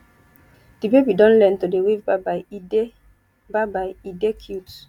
di baby don learn to dey wave byebye e dey byebye e dey cute